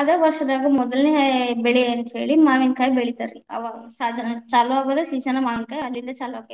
ಅದ ವಷ೯ದಾಗ ಮೊದಲನೆ ಬೆಳೆ ಅಂತ್ಹೇಳಿ ಮಾವಿನಕಾಯಿ ಬೆಳಿತಾರಿ, ಅವಾಗ ಸಾಜನ ಚಾಲುವಾಗುದ season ಮಾವಿನಕಾಯಿದ ಅಲ್ಲಿಂದ ಚಾಲುವಾಗಕ್ಕೆತಿ.